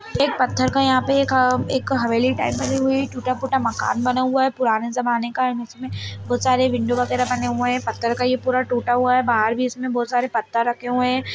एक पत्थर का यहां पे एक एक हवेली टाइप बनी हुई है टूटा-फूटा मकान बना हुआ है पुराने जमाने का एण्ड इसमें बहुत सारी विन्डो वगैरा बनी हुई है पत्थर का ये पूरा टूटा हुआ है बाहर भी इसमें बहुत सारे पत्थर रखे हुए हैं।